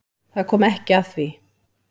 Það kom ekki að því.